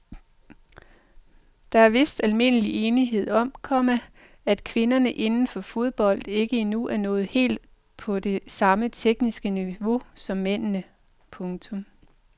Der er vist almindelig enighed om, komma at kvinderne inden for fodbold ikke endnu er nået helt op på det samme tekniske niveau som mændene. punktum